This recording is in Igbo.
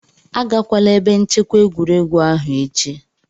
Agakwala ebe nchekwa egwuregwu ahụ echi!